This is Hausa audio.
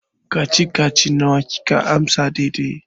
Kacici-kacici nawa kika amsa daidai?